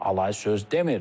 Alay söz demir.